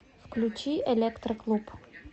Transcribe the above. включи электроклуб